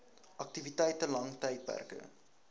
aktiwiteite lang tydperke